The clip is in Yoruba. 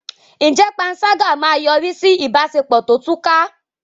Ǹjẹ́ panṣágà máa yọrí sí ìbáṣepọ̀ tó túká?